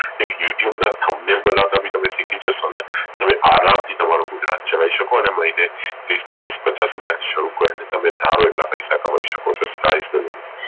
એક YouTube બનાવતા પણ શીખી જશો ને તો તમે આરામ થી તમારું ગુજરાન ચલાઈ શકો અને મહિને તીસ ચાલીસ પચાસ હાજર થી શરુ કરો અને તમે ધારો એટલા પૈસા કમાઈ શકો છો